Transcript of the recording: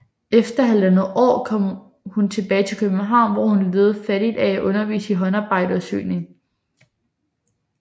Efter halvandet år kom hun tilbage til København hvor hun levede fattigt af at undervise i håndarbejde og syning